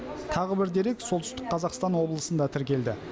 тағы бір дерек солтүстік қазақстан облысында тіркелді